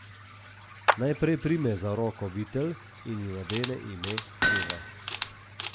Najprej prime za roko Vitel in ji nadene ime Eva.